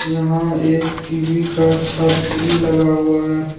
यहां एक टी_वी का छतरी लगा हुआ है।